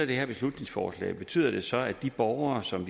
det her beslutningsforslag betyder det så at de borgere som